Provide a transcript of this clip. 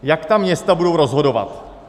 Jak ta města budou rozhodovat?